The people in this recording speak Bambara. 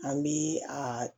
An bi a